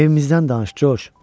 Evimizdən danış Coş.